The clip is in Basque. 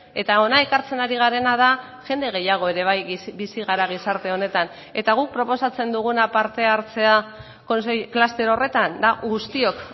eta hona ekartzen ari garena da jende gehiago ere bai bizi gara gizarte honetan eta guk proposatzen duguna parte hartzea kluster horretan da guztiok